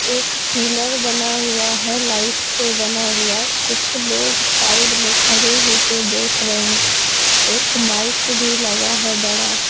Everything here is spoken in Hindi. एक पिलर बना हुआ है लाइट से बना हुआ कुछ लोग साइड में खड़े हो के देख रहे हैं एक माइक भी लगा है बड़ा।